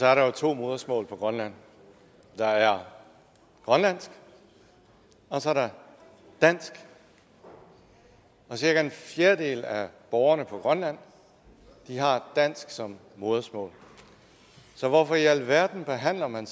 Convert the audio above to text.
er der jo to modersmål på grønland der er grønlandsk og så er der dansk og cirka en fjerdedel af borgerne på grønland har dansk som modersmål så hvorfor i alverden behandler man